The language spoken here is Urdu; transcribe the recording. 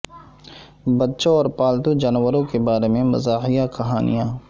بچوں اور پالتو جانوروں کے بارے میں مزاحیہ کہانیاں